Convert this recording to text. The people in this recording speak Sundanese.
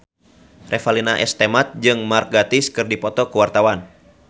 Revalina S. Temat jeung Mark Gatiss keur dipoto ku wartawan